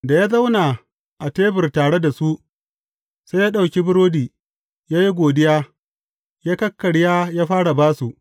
Da ya zauna a tebur tare da su, sai ya ɗauki burodi, ya yi godiya, ya kakkarya ya fara ba su.